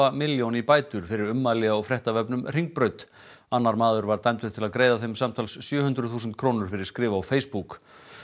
milljón í bætur fyrir ummæli á fréttavefnum Hringbraut annar maður var dæmdur til að greiða þeim samtals sjö hundruð þúsund krónur fyrir skrif á Facebook